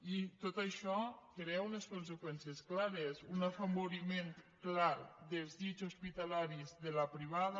i tot això crea unes conseqüències clares un afavoriment clar dels llits hospitalaris de la privada